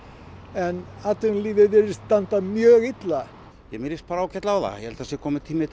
en atvinnulífið virðist standa mjög illa mér líst bara ágætlega á það ég held að það sé kominn tími